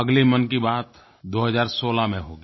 अगले मन की बात 2016 में होगी